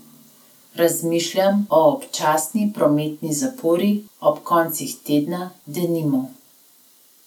Razmišljam o občasni prometni zapori, ob koncih tedna, denimo.